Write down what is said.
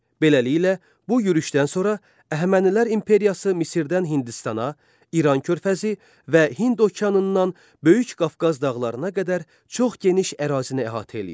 Beləliklə, bu yürüşdən sonra Əhəmənilər imperiyası Misirdən Hindistana, İran körfəzindən və Hind okeanından Böyük Qafqaz dağlarına qədər çox geniş ərazini əhatə edirdi.